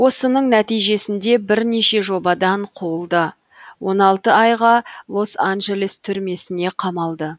осының нәтижесінде бірнеше жобадан қуылды он алты айға лос анджелес түрмесіне қамалды